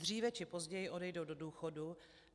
Dříve či později odejdou do důchodu.